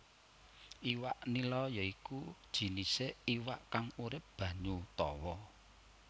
Iwak nila ya iku jinisé iwak kang urip banyu tawa